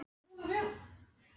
Ina, viltu hoppa með mér?